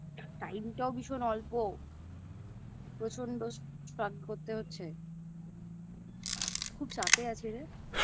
Time টাও ভীষণ অল্প প্রচণ্ড Struggle করতে হচ্ছে খুব চাপে আছি রে